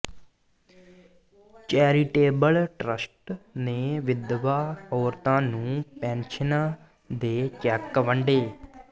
charitable trust ਨੇ ਵਿਧਵਾ ਔਰਤਾਂ ਨੂੰ ਪੈਨਸ਼ਨਾਂ ਦੇ ਚੈੱਕ ਵੰਡੇ